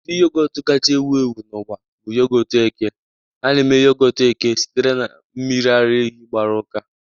Ụdị yogọt kacha ewu ewu n'ụwa bụ yogọt eke. A na-eme yogọt eke sitere na mmiri ara ehi gbaru uka